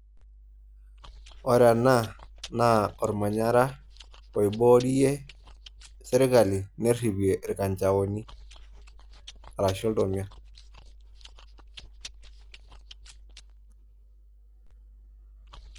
Ore ene naa olmanyara oiboorie serkali neripie ilkanjaoni arashu iltomia.